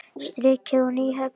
Strikið og Nýhöfn.